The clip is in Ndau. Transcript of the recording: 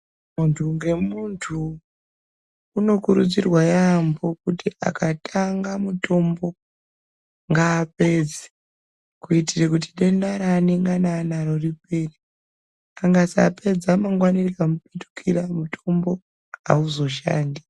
Muntu ngemuntu unokurudzirwa yaambo kuti akatanga mutombo ngaapedze kuitire kuti denda raanengani anaro ripere. Angasapadza mangwani rika mupetukira mutombo hauzoshandi.